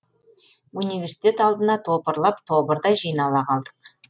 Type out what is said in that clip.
университет алдына топырлап тобырдай жинала қалдық